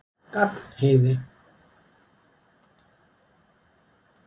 Gagnheiði